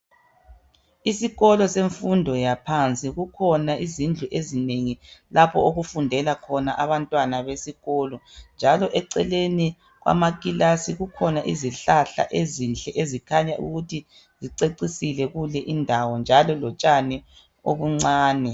Isikolo semfundo yaphansi kukhona izindlu ezinengi lapho okufundela khona abantwana besikolo njalo eceleni kwamakilasi kukhona izihlahla ezinhle ezikhanya ukuthi zicecisile kule indawo njalo lotshani obuncane.